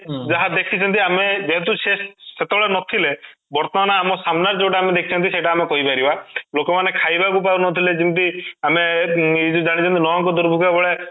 ଯାହା ଦେଖିଛନ୍ତି ଆମେ ଯେହେତୁ ସିଏ ସେତେବେଳେ ନଥିଲେ ବର୍ତ୍ତମାନ ଆମ ସାମ୍ନା ରେ ଯୋଉଟା ଆମେ ଦେଖୁଛନ୍ତି ସେଇଟା ଆମେ କହିପାରିବା ଲୋକ ମାନେ ଖାଇବାକୁ ପାଉନଥିଲେ ଯେମିତି ଆମେ ଇ ଜାଣିବେ ନ' ଅଙ୍କ ଦୁର୍ଭିକ୍ଷ ଭଳିଆ